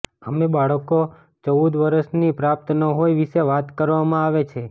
અમે બાળકો ચૌદ વર્ષની પ્રાપ્ત ન હોય વિશે વાત કરવામાં આવે છે